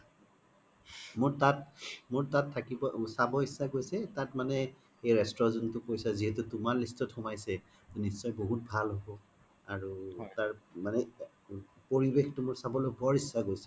মোৰ তাত, মোৰ তাত থাকিবই চাব ইত্ছা গৈছে তাত মানে এই restaurant যোনতো কৈছা যিহেতু তুমাৰ list ত খুমাইছে নিশ্চয়ই বহুত ভাল হ্'ব আৰু তাৰ পৰিবেশতো চাবলৈ বৰ ইশ্চা গৈছে